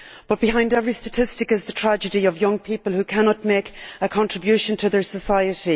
But behind every statistic is the tragedy of young people who cannot make a contribution to their society.